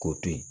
K'o to yen